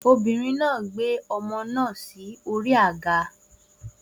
Obìnrin náà gbé ọmọ náà sí orí àga